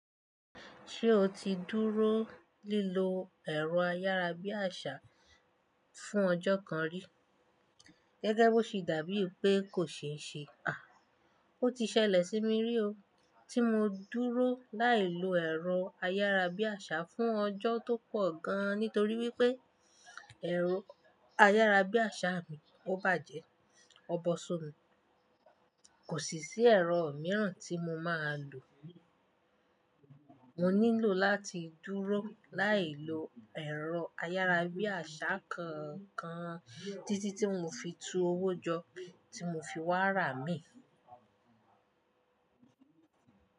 Ṣé o ti dúró lilo ẹ̀rọ ayárabíàṣá fún ọjọ́ kan rí? Gẹ́gẹ́ bí ó ṣe dàbí pé kò ṣeéṣe, à, ó ti ṣẹlẹ̀ sí mi rí o. Tí mo dúró láì lo ẹ̀rọ ayárabíàṣá fún ọjọ́ tó pọ̀ gan, nítorí wípé ẹ̀rọ ayárabíàṣá mi ó bàjẹ́. Ọbo ṣọ́nù. Kò sì sí ẹ̀rọ mìíràn tí mo máa lò. Mo nílò láti dúró láì lo ẹ̀rọ ayárabíàṣá kankan títí tí mo fi tu owó jọ tí mo fi wá rà mí.